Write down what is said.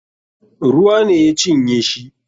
Ruwa ne ya cinye shi.